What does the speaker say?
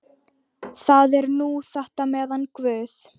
Það er nú þetta með hann guð.